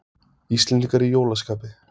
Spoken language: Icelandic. Íslendingar í jólaskapi